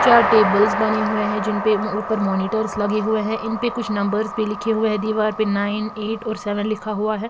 चार टेबल्स बने हुए है जिन पे ऊपर मॉनिटर्स लगे हुए है इन पे कुछ नंबर्स भी लिखे हुए है दीवार पे नाइन एट और सेवन लिखा हुआ है।